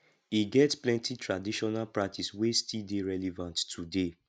e get plenty traditional practice wey still dey relevant today